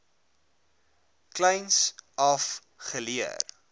kleins af geleer